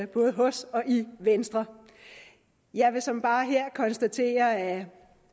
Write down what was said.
både hos og i venstre jeg vil såmænd bare her konstatere at